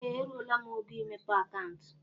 Ee! Eruola m ógo imepe akauntu.